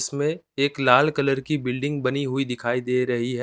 उसमें एक लाल कलर की बिल्डिंग बनी हुई दिखाई दे रही है।